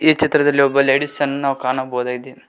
ಈ ಚಿತ್ರದಲ್ಲಿ ಒಬ್ಬ ಲೇಡಿಸ್ ಅನ್ನ ಕಾಣಬಹುದಾಗಿದೆ.